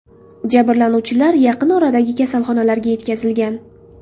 Jabrlanuvchilar yaqin oradagi kasalxonalarga yetkazilgan.